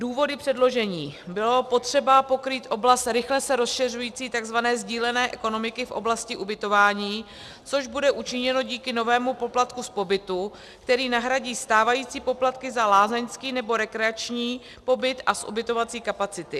Důvody předložení: Bylo potřeba pokrýt oblast rychle se rozšiřující tzv. sdílené ekonomiky v oblasti ubytování, což bude učiněno díky novému poplatku z pobytu, který nahradí stávající poplatky za lázeňský nebo rekreační pobyt a z ubytovací kapacity.